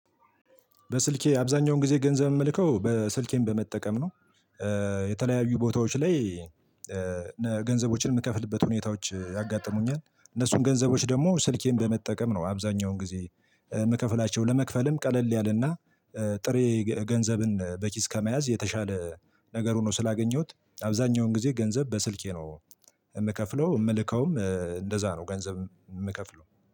በስልኬ አብዛኛውን ጊዜ ገንዘብ የምልከው በ ስልኬን በመጠቀም ነው። የተለያዩ ቦታዎች ላይ ገንዘቦችን የምከፍልበት ሁኔታዎች ያጋጥሙኛል። እነሱን ገንዘቦች ደግሞ ስልኬን በመጠቀም ነው አብዛኛውን ጊዜ የምከፍላቸው ለመክፈልም ቀለል ያለና ጥሬ ገ ገንዘብን በኪስ ከመያዝ የተሻለ ነገር ሆኖ ስላገኘሁት አብዛኛውን ጊዜ ገንዘብ በስልኬ ነው የምከፍለው የምልከውም እንደዛ ነው ገንዘብ የምከፍለው።